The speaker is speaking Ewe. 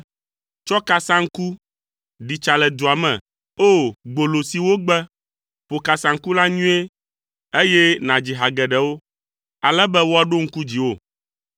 “Tsɔ kasaŋku. Ɖi tsa le dua me. O! Gbolo si wogbe, ƒo kasaŋku la nyuie, eye nàdzi ha geɖewo, ale be woaɖo ŋku dziwò.”